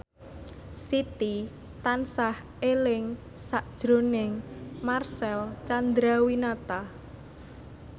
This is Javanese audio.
Siti tansah eling sakjroning Marcel Chandrawinata